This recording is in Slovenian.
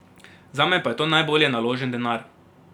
Zame pa je to najbolje naložen denar.